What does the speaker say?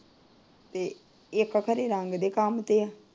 ਤੇ ਖਰੇ ਰੰਗ ਦੇ ਕੰਮ ਤੇ ਏ।